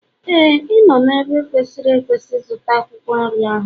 Éè, ị nọ n'ebe kwesịrị ekwesị ịzụta akwụkwọ nri ọhụrụ.